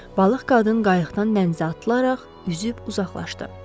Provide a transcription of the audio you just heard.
Balıq qadın qayıqdan dənizə atılaraq üzüb uzaqlaşdı.